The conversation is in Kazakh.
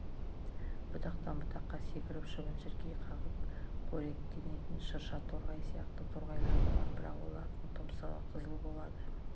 бұтақтан бұтаққа секіріп шыбын-шіркей қағып қоректенетін шырша торғай сияқты торғайлар да бар бірақ олардың тұмсығы қызыл болады